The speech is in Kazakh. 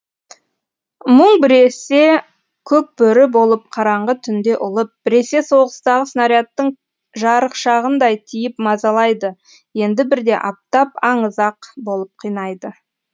мұң біресе көкбөрі болып қараңғы түнде ұлып біресе соғыстағы снарядтың жарықшағындай тиіп мазалайды енді бірде аптап аңызақ болып қинайды